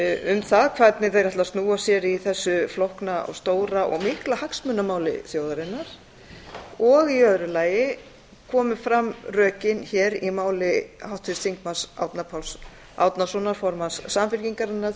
um það hvernig þeir ætla að snúa sér í þessu flókna og stóra og mikla hagsmunamáli þjóðarinnar og í öðru lagi komu fram rökin hér í máli háttvirts þingmanns árna páls árnasonar formanns samfylkingarinnar